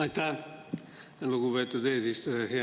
Aitäh, lugupeetud eesistuja!